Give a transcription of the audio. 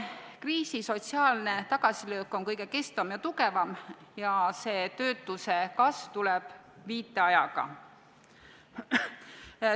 Kriisi sotsiaalne tagasilöök on kõige kestvam ja tugevam ning töötuse kasv tuleb viiteajaga.